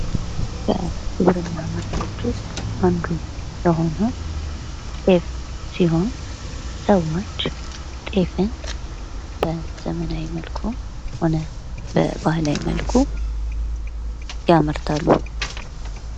ከግብርና ምርቶች ውስጥ አንዱ የሆነው ጤፍ ሲሆን ሰወች ጤፍን በዘመናዊ መልኩም ሆነ በባህላዊ መልኩ ያመርታሉ።